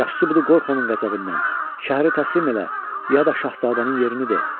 Yaxşı odur qorx onun qəzəbindən, şəhəri təslim elə ya da Şahzadənin yerini de.